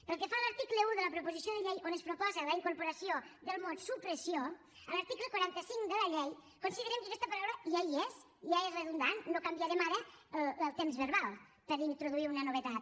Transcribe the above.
pel que fa a l’article un de la proposició de llei on es proposa la incorporació del mot supressió a l’article quaranta cinc de la llei considerem que aquesta paraula ja hi és ja és redundant no canviarem ara el temps verbal per introduir una novetat